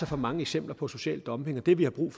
for mange eksempler på social dumping og det vi har brug